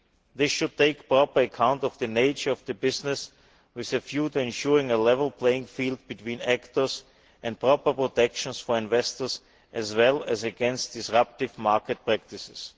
This should take proper account of the nature of the business with a view to ensuring a level playing field between actors and proper protection for investors as well as against disruptive market practices.